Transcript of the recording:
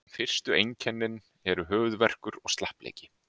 Fyrstu einkennin eru höfuðverkur og slappleiki.